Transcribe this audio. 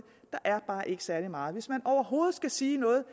er bare ikke særlig meget hvis man overhovedet skal sige noget